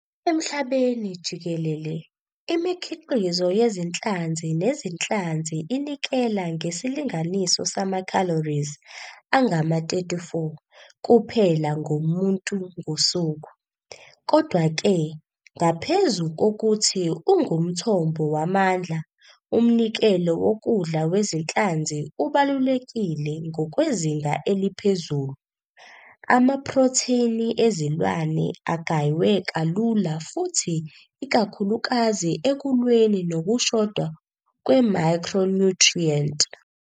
Emhlabeni jikelele, imikhiqizo yezinhlanzi nezinhlanzi inikela ngesilinganiso sama-calories angama-34 kuphela ngomuntu ngosuku. Kodwa-ke ngaphezu kokuthi ungumthombo wamandla, umnikelo wokudla wezinhlanzi ubalulekile ngokwezinga eliphezulu, amaprotheni ezilwane agaywe kalula futhi ikakhulukazi ekulweni nokushoda kwemicronutrient.